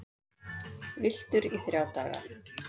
Villtur í þrjá daga